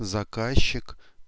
заказчик